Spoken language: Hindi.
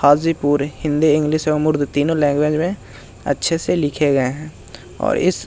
हाजीपुर हिंदी इंग्लिश एवं उर्दू तीनो लैंग्वेज में अच्छे से लिखे गए हैं और इस --